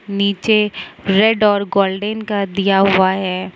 नीचे रेड और गोल्डन कर दिया हुआ है।